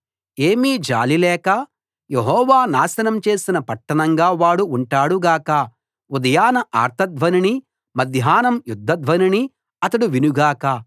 ఏమీ జాలి లేక యెహోవా నాశనం చేసిన పట్టణంగా వాడు ఉంటాడు గాక ఉదయాన ఆర్త ధ్వనినీ మధ్యాహ్నం యుద్ధ ధ్వనినీ అతడు వినుగాక